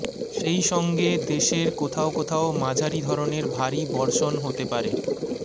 সেই সঙ্গে দেশের কোথাও কোথাও মাঝারী ধরণের ভারী বর্ষণ হতে পারে